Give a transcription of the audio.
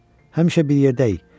Həmişə bir yerdəyik.